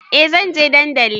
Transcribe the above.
Eh zanje dandali